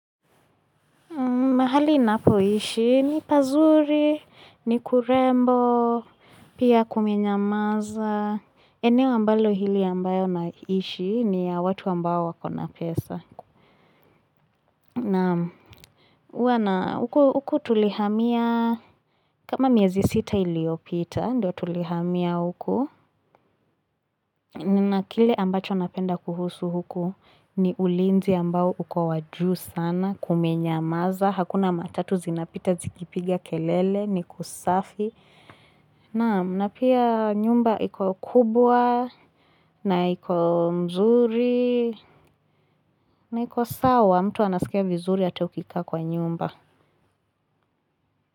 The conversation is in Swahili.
Mahali ninapo ishi, ni pazuri, ni kurembo, pia kumenyamaza. Eneo ambalo hili ambayo na ishi ni ya watu ambayo wakona pesa. Nam huwa na huku tulihamia, kama miezi sita iliyopita, ndo tulihamia huku. Na kile ambacho napenda kuhusu huku, ni ulinzi ambao uko wajuu sana, kumenyamaza. Hakuna matatu zinapita zikipigia kelele ni kusafi. Naam na pia nyumba iko kubwa na iko mzuri na iko sawa. Mtu anasikia vizuri ata ukikaa kwa nyumba.